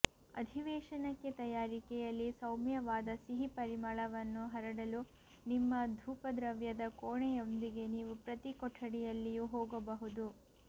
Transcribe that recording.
ಅಧಿವೇಶನಕ್ಕೆ ತಯಾರಿಕೆಯಲ್ಲಿ ಸೌಮ್ಯವಾದ ಸಿಹಿ ಪರಿಮಳವನ್ನು ಹರಡಲು ನಿಮ್ಮ ಧೂಪದ್ರವ್ಯದ ಕೋಣೆಯೊಂದಿಗೆ ನೀವು ಪ್ರತಿ ಕೊಠಡಿಯಲ್ಲಿಯೂ ಹೋಗಬಹುದು